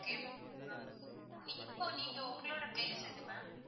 okay. இப்போ நீங்க உங்களோட place எது ma'am.